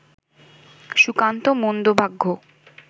Sukanta মন্দভাগ্য